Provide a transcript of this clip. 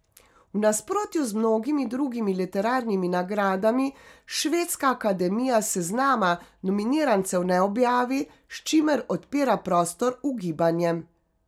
V nasprotju z mnogimi drugimi literarnimi nagradami Švedska akademija seznama nominirancev ne objavi, s čimer odpira prostor ugibanjem.